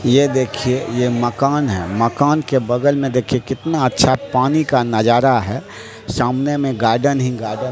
ये देखिए ये मकान है मकान के बगल में देखिए कितना अच्छा पानी का नजारा है सामने में गार्डन ही गार्डन --